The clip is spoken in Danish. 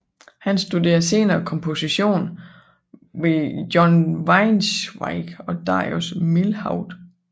Han studerede senere komposition hos John Weinzweig og Darius Milhaud